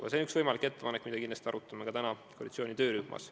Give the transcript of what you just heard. See on üks võimalik ettepanek, mida me kindlasti arutame ka täna koalitsiooni töörühmas.